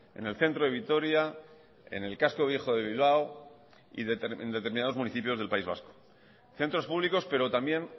en el centro de vitoria en el casco viejo de bilbao y en determinados municipios del país vasco centros públicos pero también